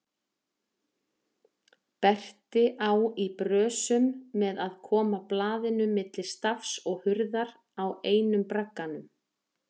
Berti á í brösum með að koma blaðinu milli stafs og hurðar á einum bragganum.